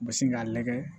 U bɛ sin k'a lagɛ